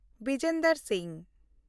Bijender Singh